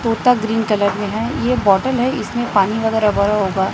तोता green colour में हैं ये बोटल है इसमें पानी वगैरह भरा होगा।